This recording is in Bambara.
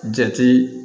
Jate